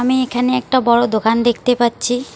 আমি এইখানে একটা বড় দোকান দেখতে পাচ্ছি।